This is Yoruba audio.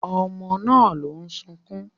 Ọmọ náà ló ń sunkún